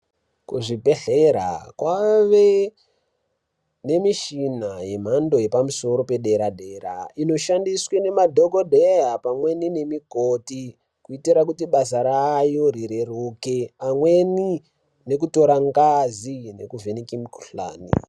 Kuzvibhedhlera kwawe nemishina yemhando yepamusoro yedera dera inoshandiswa nemadhogodheya pamwe nemikoti kuitira kuti basa rayo rireruke amweni nekutora ngazi amweni nekuvheneke mikuhlani.